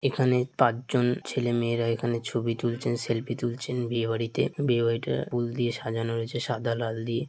এখানে পাঁচ জন ছেলেমেয়েরা এখানে ছবি তুলছেন সেলফি তুলছেন বিয়ে বাড়িতে | বিয়ে বাড়িটা ফুল দিয়ে সাজানো রয়েছে সাদা লাল দিয়ে ।